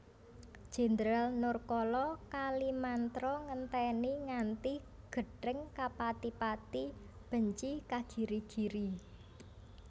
Jendral Nurkala Kalimantra ngenteni nganti gething kepatipati benci kagirigiri